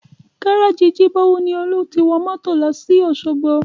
Gárájì Jibowu ni Olú ti wọ mọ́tò lọ sí Osogbo